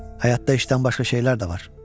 Həyatda işdən başqa şeylər də var.